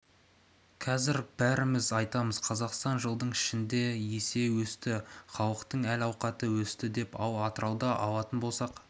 қазір бәріміз айтамыз қазақстан жылдың ішінде есе өсті халықтың әл-ауқаты өсті деп ал атырауды алатын болсақ